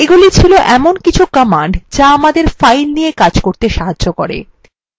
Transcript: এগুলি files এমন কিছু commands যা আমাদের files নিয়ে কাজ করতে সাহায্য করে